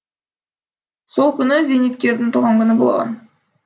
сол күні зейнеткердің туған күні болған